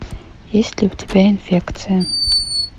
есть ли у тебя инфекция